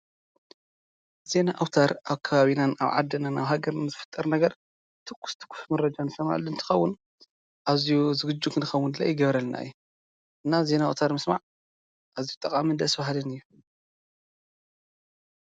ዜና ኣውታር ኣብ ከባቢናን ኣብ ዓድናን ኣብ ሃገርናን ዝፍጠር ነገር ትኩስ ትኩስ መረጃ እንሰምዐሉ እንትከውን ኣዝዩ ዝግጁ ንክንከውን ይገብረልና እዩ፡፡ እና ዜና ኣውታር ምስማዕ ኣዝዩጠቃምን ደስ በሃልን እዩ፡፡